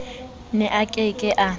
ne a ke ke a